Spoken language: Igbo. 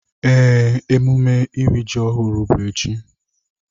Ee, emume iri ji ọhụrụ bụ echi.